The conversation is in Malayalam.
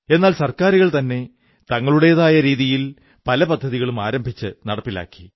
എന്നാൽ സർക്കാരുകൾതന്നെ തങ്ങളുടേതായ രീതിയിൽ പല പദ്ധതികളും ആരംഭിച്ചു നടപ്പിലാക്കി